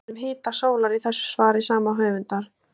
Fjallað er um hita sólar í þessu svari sama höfundar.